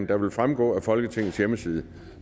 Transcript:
der vil fremgå af folketingets hjemmeside